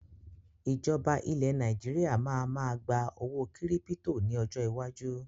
Ìjọba ilẹ̀ Nàìjíríà máa ma gba owó kírípítò ni ọjọ́ iwájú